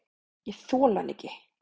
Ég þoli hann ekki.